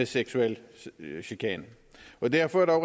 seksuel chikane og derfor er